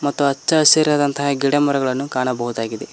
ಹಾಗೂ ಅಚ್ಚ ಹಸಿರಾದ ಗಿಡಮರಗಳನ್ನು ಕಾಣಬಹುದಾಗಿದೆ.